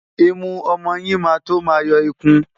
Imú ọmọ yín máa tó máa yọ ikun.